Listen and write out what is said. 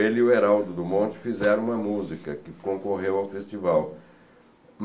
Ele e o Heraldo Dumont fizeram uma música que concorreu ao festival.